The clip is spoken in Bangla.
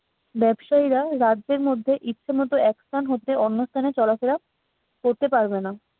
ব্যবসায়ীরা রাজ্যের মধ্যে ইচ্ছেমতো এক স্থান হতে অন্য স্থানে চলাফেরা করতে পারবে না।